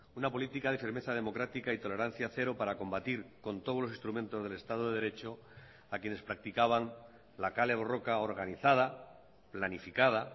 una política de firmeza democrática y tolerancia cero para combatir con todos los instrumentos del estado de derecho a quienes practicaban la kale borroka organizada planificada